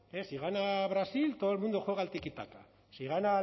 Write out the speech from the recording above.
si gana brasil todo el mundo juega al tiki taka si gana